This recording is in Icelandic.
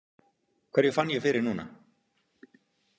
Hverju fann ég fyrir núna?